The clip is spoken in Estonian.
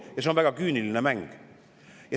Ja see on väga küüniline mäng.